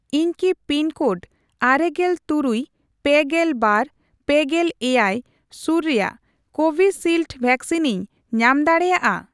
ᱤᱧ ᱠᱤ ᱯᱤᱱᱠᱳᱰ ᱟᱨᱮᱜᱮᱞ ᱛᱩᱨᱩᱭ ,ᱯᱮᱜᱮᱞ ᱵᱟᱨ ,ᱯᱮᱜᱮᱞ ᱮᱭᱟᱭ ᱥᱩᱨ ᱨᱮᱭᱟᱜ ᱠᱳᱵᱷᱤᱥᱤᱞᱰ ᱮᱮᱠᱥᱤᱱᱤᱧ ᱧᱟᱢ ᱫᱟᱲᱮᱭᱟᱜᱼᱟ ᱾